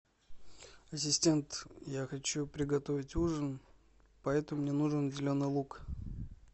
ассистент я хочу приготовить ужин поэтому мне нужен зеленый лук